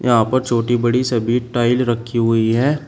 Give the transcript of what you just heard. यहां पर छोटी बड़ी सभी टाइल रखी हुई है।